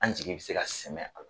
An jigi be se ka sɛmɛ ala